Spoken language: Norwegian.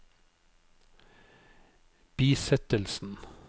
bisettelsen